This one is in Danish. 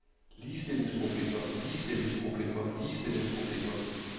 ligestillingsproblemer ligestillingsproblemer ligestillingsproblemer